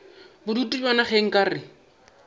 bodutu bjona ge nka re